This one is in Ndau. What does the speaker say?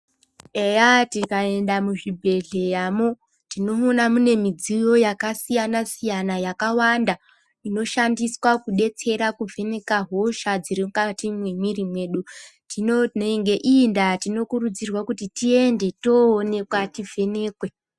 Eya tika enda muzvi bhedhleya mo tinoona mune midziyo yaka siyana siyana yaka wanda inoshandiswa ku betsera ku vheneka hosha dziri mukati me mwiri medu nge iyi ndaa tino kuridzirwa kuti tiende toonekwa ti vhenekwe.